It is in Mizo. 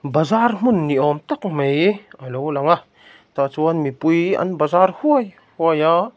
bazar hmun ni awm tak mai a lo lang a tah chuan mipui an bazar huai huai a.